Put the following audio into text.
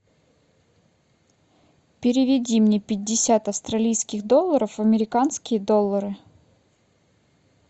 переведи мне пятьдесят австралийских долларов в американские доллары